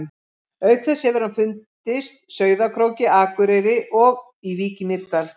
Auk þess hefur hann fundist Sauðárkróki, Akureyri og í Vík í Mýrdal.